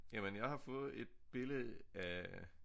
Jamen jeg har fået et billede af